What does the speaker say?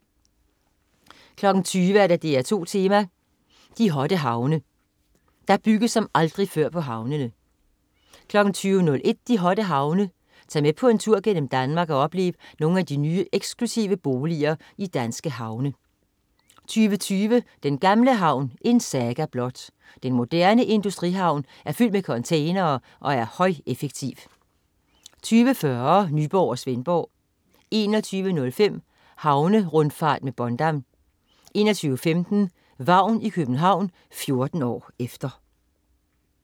20.00 DR2 Tema: De hotte havne. Der bygges som aldrig før på havnene 20.01 De hotte havne. Tag med på en tur gennem Danmark og oplev nogle af de nye eksklusive boliger i danske havne 20.20 Den gamle havn. En saga blot. Den moderne industrihavn er fyldt med containere og er højeffektiv 20.40 Nyborg og Svendborg 21.05 Havnerundfart med Bondam 21.15 Vagn i København. 14 år efter